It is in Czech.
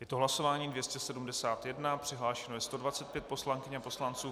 Je to hlasování 271, přihlášeno je 125 poslankyň a poslanců.